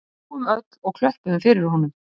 Við hlógum öll og klöppuðum fyrir honum